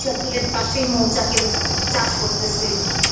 সরিষা ফুলের পাশেই মৌচাকের চাষ করতেসে